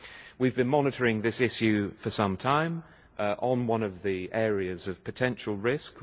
We have been monitoring this issue for some time as one of the areas of potential risk.